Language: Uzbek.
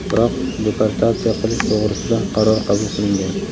biroq deportatsiya qilish to‘g‘risida qaror qabul qilingan.